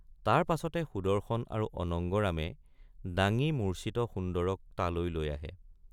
তাৰ পাছতে সুদৰ্শন আৰু অনঙ্গৰামে ডাঙি মূৰ্চ্চিত সুন্দৰক তালৈ লৈ আহে।